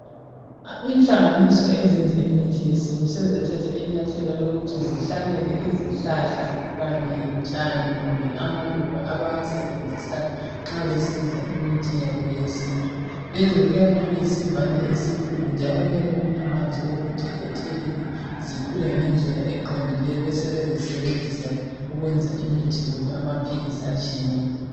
Inhlanganiso ezenza imithi yesintu sezathatha inyatheli lokuthi zihlanyele izhlahla Kanye lotshani kumbe amaluba abawasebenzisa nxa besenza imithi yabo yesintu lezi kuyabe kuyisivande esikhulu njalo kuyabe kulamanzi okuthi bethelele zikhule ngendlela eqondileyo besebezisebenzisa ukwenza imithi kumbe amaphilisi atshiyeneyo